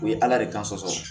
O ye ala de ka sɔsɔ